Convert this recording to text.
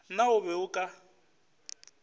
na o be o ka